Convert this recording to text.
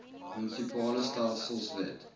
munisipale stelsels wet